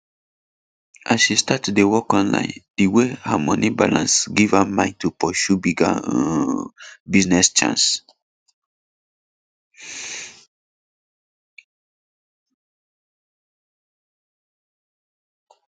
as she start to dey work online the way her moni balance give her mind to pursue bigger um business chance